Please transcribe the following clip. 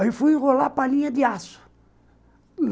Aí fui enrolar palinha de aço.